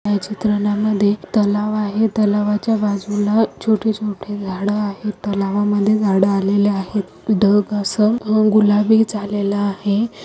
या चित्रनामध्ये तलाव आहे तलावाच्या बाजुला छोटे छोटे झाड आहे तलावामध्ये झाड आलेले आहेत. ढग अस गुलाबी झालेल आहे.